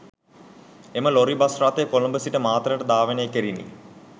එම lorry bus රථය කොළඹ සිට මාතරට ධාවනය කෙරිණි